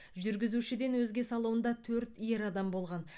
жүргізушіден өзге салонда төрт ер адам болған